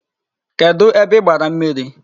Kedụ ebe i gbara mmiri?